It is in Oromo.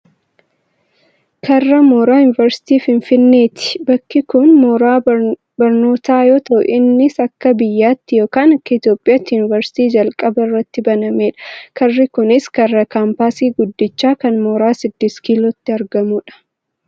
karra mooraa yuuniversiitii finfinneeti. bakki kun mooraa barnootaa yoo ta'u innis akka biyyattiitti yookaan akka Itoopiyaatti yuunuversiitii jalqaba irratti banamedha. karri kunis karra kaampaasii guddicha kan mooraa sidist kilootti argamudha.